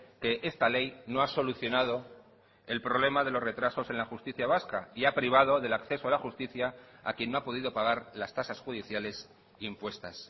que esta ley no ha solucionado el problema de los retrasos en la justicia vasca y ha privado del acceso a la justicia a quien no ha podido pagar las tasas judiciales impuestas